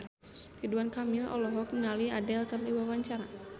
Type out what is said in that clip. Ridwan Kamil olohok ningali Adele keur diwawancara